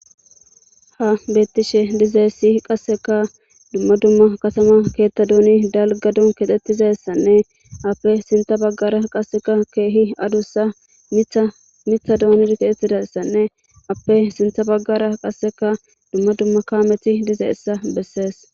ha betishe dizayssi qasseka dumma dumma katama keettaduni dalgadun kexettizayssanne appe sintha baggara qasseka keehi adussa mitha doonid kexettizayssanne appe sintha baggara qasseka dumma dumma kaameti dizeessa bessees